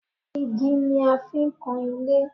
Igi ni a fi ń kan ilé